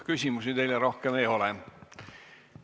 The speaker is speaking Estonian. Küsimusi teile rohkem ei ole.